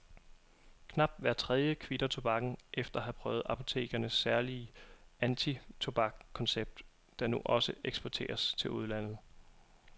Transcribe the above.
Knap hver tredje kvitter tobakken efter at have prøvet apotekernes særlige antitobakskoncept, der nu også eksporteres til udlandet.